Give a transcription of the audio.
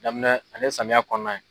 Daminɛ ale ye samiya kɔnɔna ye.